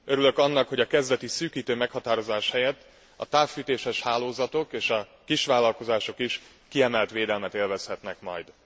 Örülök annak, hogy a kezdeti szűkítő meghatározás helyett a távfűtéses hálózatok és a kisvállalkozások is kiemelt védelmet élvezhetnek majd.